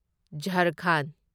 ꯓꯥꯔꯈꯟꯗ